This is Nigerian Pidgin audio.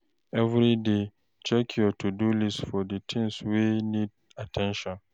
Every day, check your to-do list for the things wey need at ten tion